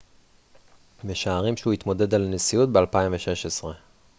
משערים שהוא יתמודד על הנשיאות ב-2016